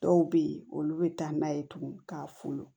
Dɔw bɛ yen olu bɛ taa n'a ye tugun ka folo